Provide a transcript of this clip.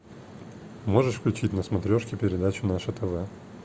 можешь включить на смотрешке передачу наше тв